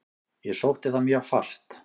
Ég sótti það mjög fast.